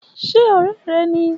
Ṣe òré rẹ ni